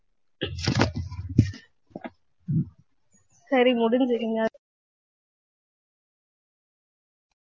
சரி